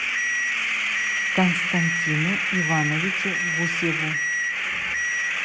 константину ивановичу гусеву